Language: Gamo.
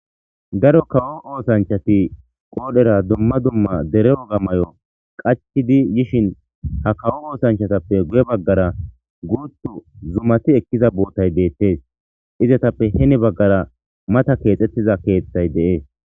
Daro kawo oosanchati qoodhera dumma dumma dere woga mayo qachidi yishin ha kawo oosanchatappe guye baggara guutu zumati ekkiza bootay deettes izatappe heni baggara mata keexxettiza keeththay de'es